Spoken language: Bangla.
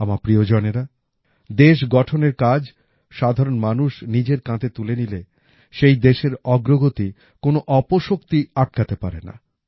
আমার প্রিয়জনেরা দেশ গঠনের কাজ সাধারণ মানুষ নিজের কাঁধে তুলে নিলে সেই দেশের অগ্রগতি কোনো অপশক্তি আটকাতে পারে না